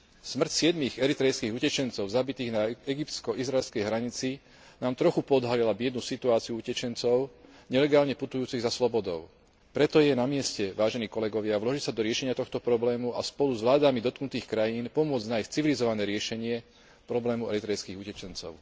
Smrť siedmich eritrejských utečencov zabitých na egyptsko izraelskej hranici nám trochu poodhalila biednu situáciu utečencov nelegálne putujúcich za slobodou. Preto je na mieste, vážení kolegovia, vložiť sa do riešenia tohto problému a spolu s vládami dotknutých krajín pomôcť nájsť civilizované riešenie problému eritrejských utečencov.